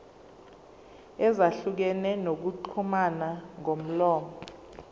ezahlukene zokuxhumana ngomlomo